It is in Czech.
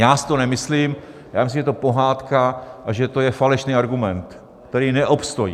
Já si to nemyslím, já myslím, že je to pohádka a že to je falešný argument, který neobstojí.